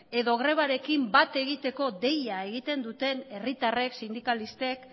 edo grebarekin bat egiteko deia egiten duten herritarrek sindikalistek